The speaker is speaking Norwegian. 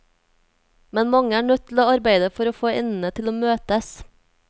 Men mange er nødt til å arbeide for å få endene til å møtes.